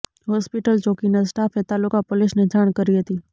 hospital ચોકીના સ્ટાફે તાલુકા પોલીસને જાણ કરી હતી